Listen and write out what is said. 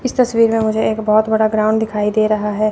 इस तस्वीर में मुझे एक बहोत बड़ा ग्राउंड दिखाई दे रहा है।